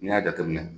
N'i y'a jateminɛ